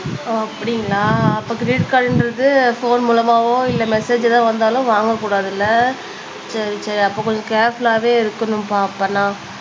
அப்படிங்களா அப்ப கிரெடிட் கார்டுன்றது போன் மூலமாவோ இல்ல மெசேஜ் எதாவது வந்தாலும் வாங்கக்கூடாதுல்ல சரி சரி அப்ப கொஞ்சம் கேர்புல்லாவே இருக்கணும்ப்பா அப்பண்ணா